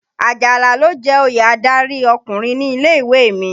Àjàlá ló jẹ oyè adárí ọkùnrin ní ilé-ìwé rẹ̀.